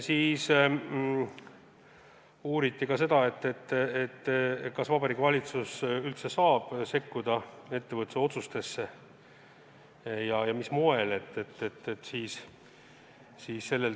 Uuriti, kas Vabariigi Valitsus üldse saab sekkuda ettevõtte otsustesse ja kui saab, siis mis moel.